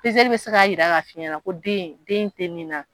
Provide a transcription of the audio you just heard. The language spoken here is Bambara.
Peseli bɛ se k'a jira k'a f'i ɲɛna ko den den tɛ min na.